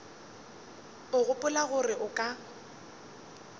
o gopola gore o ka